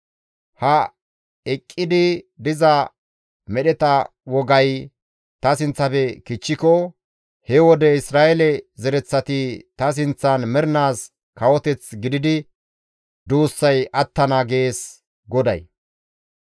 «Ha eqqidi diza medheta wogay ta sinththafe kichchiko he wode Isra7eele zereththati ta sinththan mernaas kawoteth gididi duussay attana» gees GODAY.